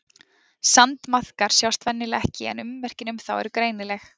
Sandmaðkar sjást venjulega ekki en ummerkin um þá eru greinileg.